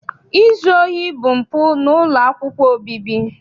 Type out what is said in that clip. Izu ohi bụ mpụ n'ụlọ akwụkwọ obibi.